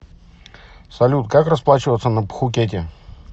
салют как расплачиваться на пхукете